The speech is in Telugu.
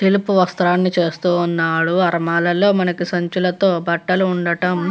తెలుపు వస్త్రాలను చేస్తూ ఉన్నాడు ఆలమారాలలోని మనకి బట్టలు ఉండటం --